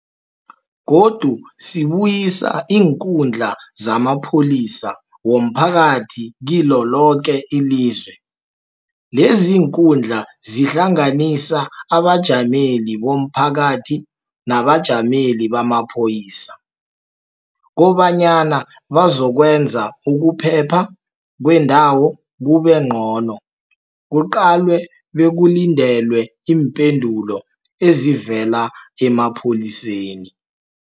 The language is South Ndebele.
Godu sibuyisa iinkundla zamapholisa womphakathi kilo loke ilizwe. Leziinkundla zihlanganisa abajameli bomphakathi nabajameli bamapholisa kobanyana bazokwenza ukuphepha kweendawo kube ngcono, kuqalwe bekulindelwe iimpendulo ezivela emapholiseni.